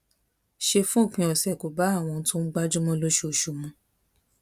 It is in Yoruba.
ṣe fún òpin ọsẹ kò bá àwọn ohun tóun ń gbájú mọ lóṣooṣù mu